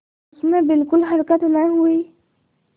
उसमें बिलकुल हरकत न हुई